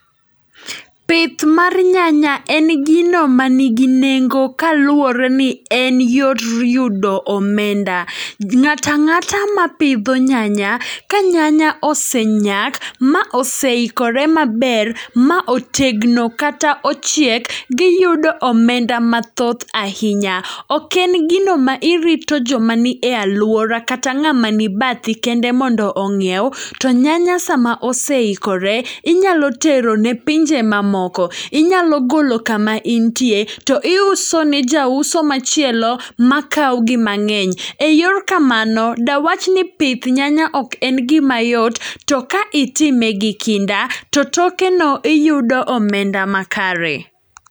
Pith mar nyanya en gino ma nigi nengo kaluwore ni en yor yudo omenda. Ng'ata ng'ata ma pidho nyanya, ka nyanya ose nyak ma oseikore maber, ma otegno kata ochiek, giyudo omenda mathoth ahinya. Ok en gino ma irito joma ni e alwora kata ng'ama ni bathi kende mondo onyiew. To nyanya sama oseikore, inyalo tero ne pinje ma moko. Inyalo golo kama intie, to iuso ne jauso machielo makawo gi mang'eny. E yor kamano, dawach ni pith nyanya ok en gima yot. To ka itime gi kinda, to toke no iyudo omenda ma kare.